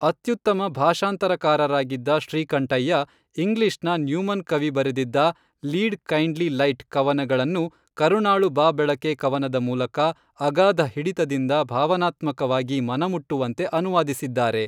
ಅತ್ಯುತ್ತಮ ಭಾಷಾಂತರಕಾರರಾಗಿದ್ದ ಶ್ರೀಕಂಠಯ್ಯ, ಇಂಗ್ಲಿಷ್ನ ನ್ಯೂಮನ್ ಕವಿ ಬರೆದಿದ್ದ ಲೀಡ್ ಕೈಂಡ್ಲೀ ಲೈಟ್ ಕವನಗಳನ್ನು ಕರುಣಾಳು ಬಾ ಬೆಳಕೆ ಕವನದ ಮೂಲಕ, ಅಗಾಧ ಹಿಡಿತದಿಂದ ಭಾವನಾತ್ಮಕವಾಗಿ ಮನಮುಟ್ಟುವಂತೆ ಅನುವಾದಿಸಿದ್ದಾರೆ